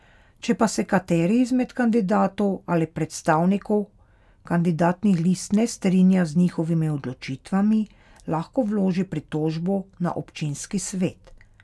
Če pa se kateri izmed kandidatov ali predstavnikov kandidatnih list ne strinja z njihovimi odločitvami, lahko vloži pritožbo na občinski svet.